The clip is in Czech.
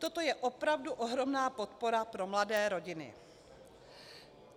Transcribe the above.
Toto je opravdu ohromná podpora pro mladé rodiny."